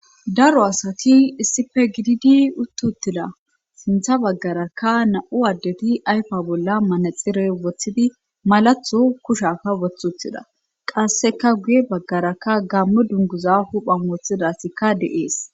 Daro asati issife gididi uttuttida sintha baggarakka na7u addeti ayfa bolla manexire woththidi malatho kushafa woththuthida qasseka guye baggarakka gamme dunguza huphan wooththida asikka de7ees.